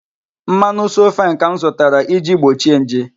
mmanu 'So fine' ka m zụtara, iji gbochie nje.